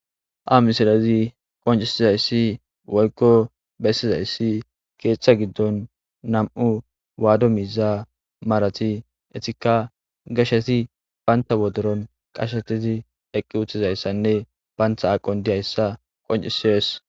a misilezi qoncisizayssi woykko bessizayssi keeththa giddon nam7u waado miza marati etika gasheti baynta wodoron qashetizi eqqi uttizayssanne baantha aqon diyayssa qoncisies